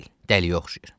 Dəliyə oxşayır.